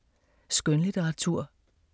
Skønlitteratur